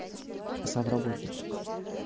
сам работник